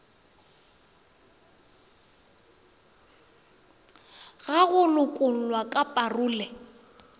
ga go lokollwa ka parole